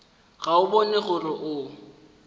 ga o bone gore o